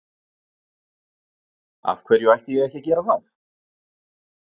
Af hverju ætti ég ekki að gera það?